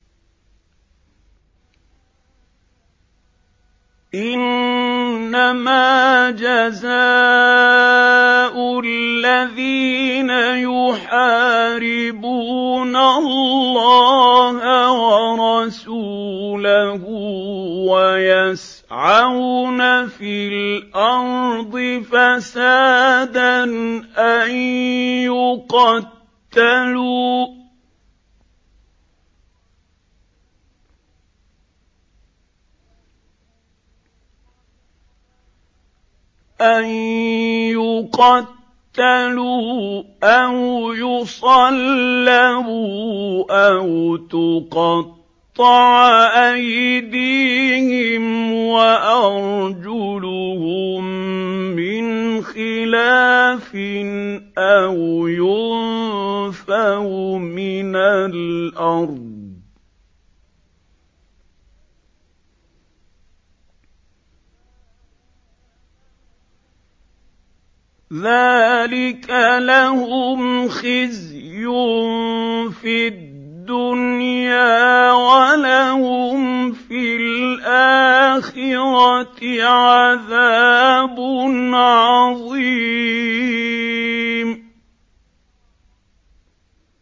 إِنَّمَا جَزَاءُ الَّذِينَ يُحَارِبُونَ اللَّهَ وَرَسُولَهُ وَيَسْعَوْنَ فِي الْأَرْضِ فَسَادًا أَن يُقَتَّلُوا أَوْ يُصَلَّبُوا أَوْ تُقَطَّعَ أَيْدِيهِمْ وَأَرْجُلُهُم مِّنْ خِلَافٍ أَوْ يُنفَوْا مِنَ الْأَرْضِ ۚ ذَٰلِكَ لَهُمْ خِزْيٌ فِي الدُّنْيَا ۖ وَلَهُمْ فِي الْآخِرَةِ عَذَابٌ عَظِيمٌ